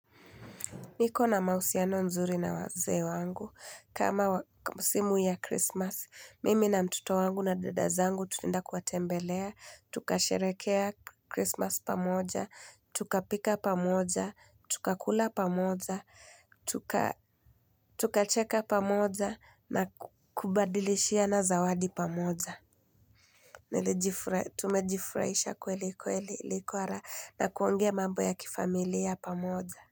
Niko na mahusiano nzuri na wazee wangu. Kama musimu ya krismasi, mimi na mtoto wangu na dada zangu tunaeda kuwatembelea, tukasherehekea krismasi pamoja, tukapika pamoja, tukakula pamoja, tukacheka pamoja na kubadilishiana zawadi pamoja. Tumejifurahisha kweli kweli ilikua raha na kuongea mambo ya kifamilia pamoja.